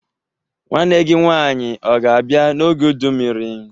Nwanne gi nwanyi o ga-abia n'oge udu mmiri?